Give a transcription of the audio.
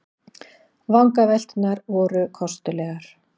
Vangavelturnar voru kostulegar.